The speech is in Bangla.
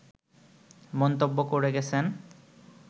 মন্তব্য করে গেছেন